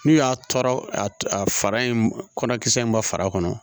N'u y'a tɔɔrɔ a fara in kɔnɔ kisɛ in ma far'a kɔnɔ